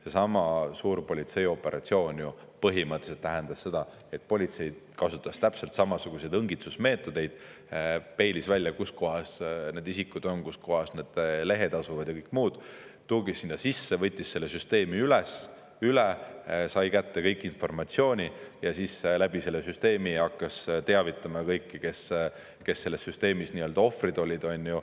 Seesama suur politseioperatsioon ju põhimõtteliselt tähendas seda, et politsei kasutas täpselt samasuguseid õngitsusmeetodeid, peilis välja, kus kohas need isikud on, kus kohas need lehed asuvad ja kõik muu, tungis sinna sisse, võttis selle süsteemi üle, sai kätte informatsiooni ja siis läbi selle süsteemi hakkas teavitama kõiki, kes selles süsteemis ohvrid olid.